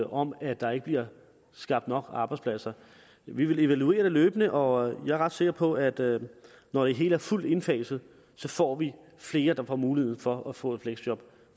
om at der ikke bliver skabt nok arbejdspladser vi vil evaluere det løbende og jeg er ret sikker på at at når det hele er fuldt indfaset får vi flere der får mulighed for at få et fleksjob